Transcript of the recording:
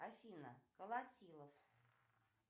афина колотилов